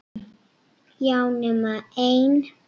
Já, nema ein.